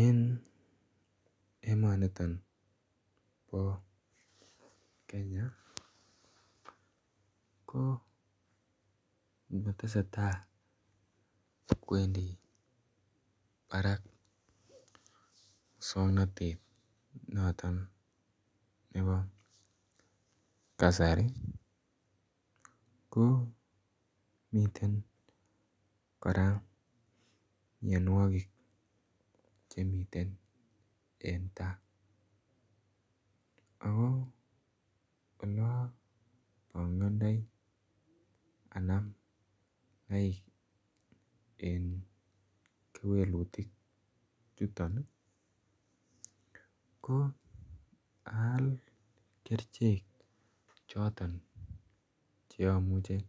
Eng emani nitoon bo kenya ko tesetai kowendii Barak musangnatet notoon nebo kasari ko miten kora mianwagik chemiten en taa ako olaan bangandoi Anam lain en kewelutiik chutoon ko aal kercheek chotoon che amuchei